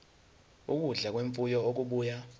ukudla kwemfuyo okubuya